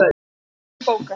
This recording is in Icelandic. Hinum megin bókahillur.